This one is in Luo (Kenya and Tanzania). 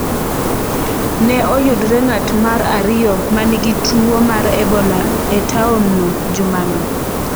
Ne oyudre ng’at mar ariyo ma nigi tuwo mar Ebola e taonno jumano.